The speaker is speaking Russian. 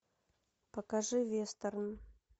покажи вестерн